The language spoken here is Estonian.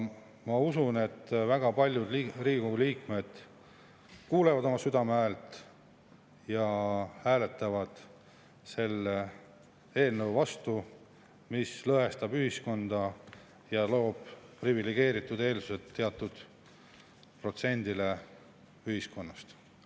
Ma usun, et väga paljud Riigikogu liikmed kuulavad oma südame häält ja hääletavad selle eelnõu vastu, sest see lõhestab ühiskonda ja loob privilegeeritud eeldused teatud protsendile ühiskonnast.